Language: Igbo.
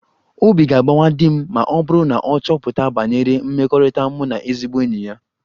Obi ga-agbawa di m ma ọ bụrụ na ọ chọpụta banyere mmekọrịta mụ na ezigbo enyi ya